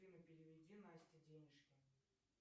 афина переведи насте денежки